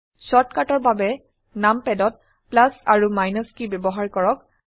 শৰ্টকাটৰ বাবে নামপাদ ত প্লাস আৰু মাইনাস কী ব্যবহাৰ কৰক